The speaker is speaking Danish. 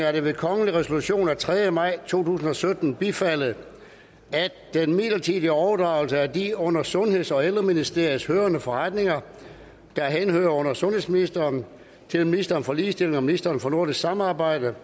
er det ved kongelig resolution af tredje maj to tusind og sytten bifaldet at den midlertidige overdragelse af de under sundheds og ældreministeriet hørende forretninger der henhører under sundhedsministeren til ministeren for ligestilling og ministeren for nordisk samarbejde